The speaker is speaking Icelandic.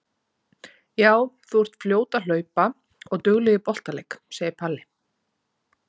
Jú, þú ert fljót að hlaupa og dugleg í boltaleik, segir Palli.